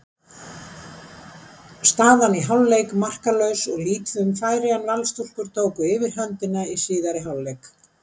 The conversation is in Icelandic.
Staðan í hálfleik markalaus og lítið um færi en Valsstúlkur tóku yfirhöndina í síðari hálfleik.